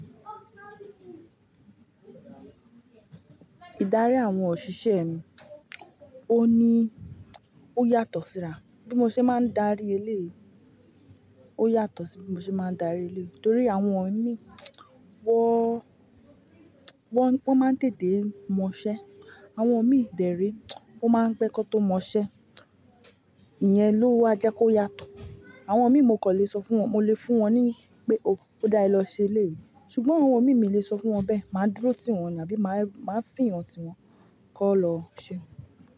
Idari awọn oṣiṣẹ mii oyatọ si ra. Bí mo ṣe máa ń darí eleyìí, ó yàtọ̀ sí bí mo ṣe máa ń darí eléyìí. Nítorí àwọn ími wọ́n, wọ́n, wọ́n máa ń tèté mọṣẹ́. Àwọn imí dẹ rẹ o máa ń pẹ́ ki wọn tó mọṣẹ́. Ìyẹn ló wá jẹ́ kó yàtọ̀. Àwọn imí mo kò lè sọ fún wọn, mo lè fún wọn ni pé ó dáa ẹ lọ ṣe eléyìí. Ṣùgbọ́n àwọn imì mi lè sọ fún wọn bẹ́ẹ̀. Máa dúró tí wọn ni àbí máa fi èèyàn tí wọn kọ́ lọ ṣe.